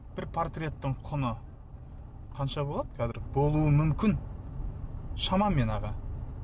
бір портреттің құны қанша болады қазір болуы мүмкін шамамен аға